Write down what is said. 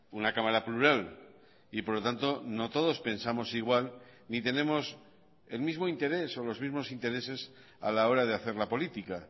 una cámara plural y por lo tanto no todos pensamos igual ni tenemos el mismo interés o los mismos intereses a la hora de hacer la política